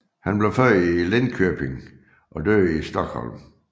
Han blev født i Linköping og døde i Stockholm